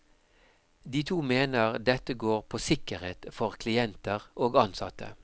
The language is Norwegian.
De to mener dette går på sikkerhet for klienter og ansatte.